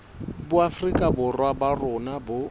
boafrika borwa ba rona bo